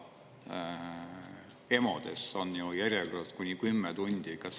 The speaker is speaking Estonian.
EMO-des on ju järjekorrad kuni 10 tundi!